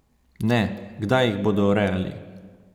Ne, kdaj jih bodo urejali!